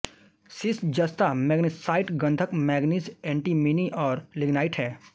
सीस जस्ता मैगनेसाइट गंधक manganese antimony और लिगनाइट हैं